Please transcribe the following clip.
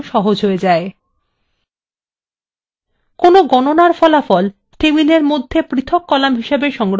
টেবিলের মধ্যে গণনার ফলাফল পৃথক কলাম হিসাবে সংরক্ষণ করার প্রয়োজন নেই